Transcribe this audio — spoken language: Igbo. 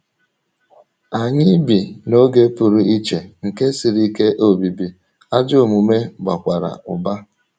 Anyị bi ‘ n’oge pụrụ iche nke siri ike obibi, ’ ajọ omume bakwara ụba.